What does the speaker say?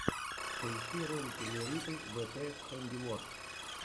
поищи ролики лериты вт хэндиворк